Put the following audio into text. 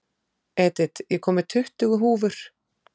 Edith, ég kom með tuttugu húfur!